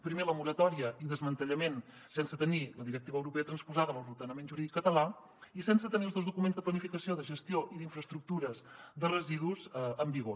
primer la moratòria i desmantellament sense tenir la directiva europea transposada a l’ordenament jurídic català i sense tenir els dos documents de planificació de gestió i d’infraestructures de residus en vigor